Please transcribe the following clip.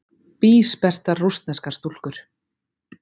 Bísperrtar rússneskar stúlkur.